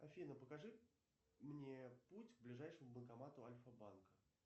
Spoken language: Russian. афина покажи мне путь к ближайшему банкомату альфа банка